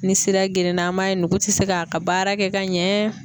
Ni sira gerenna an b'a ye nugu tɛ se k'a ka baara kɛ ka ɲɛɛɛ.